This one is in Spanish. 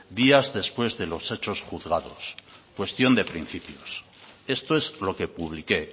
días después de los hechos juzgados cuestión de principios esto es lo que publiqué